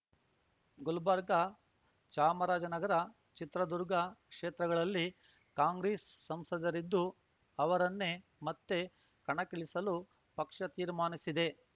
ಗುಲ್ಬರ್ಗ ಚಾಮರಾಜನಗರ ಚಿತ್ರದುರ್ಗ ಕ್ಷೇತ್ರಗಳಲ್ಲಿ ಕಾಂಗ್ರೆಸ್ ಸಂಸದರಿದ್ದು ಅವರನ್ನೇ ಮತ್ತೆ ಕಣಕ್ಕಿಳಿಸಲು ಪಕ್ಷ ತೀರ್ಮಾನಿಸಿದೆ